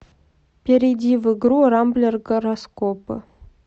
перейди в игру рамблер гороскопы